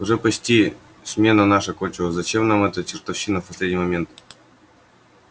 уже почти смена наша кончилась зачем нам эта чертовщина в последний момент